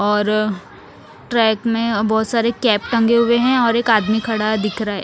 और ट्रेक में बोहोत सारे कैप टंगे हुए है और एक आदमी खड़ा दिखरा है।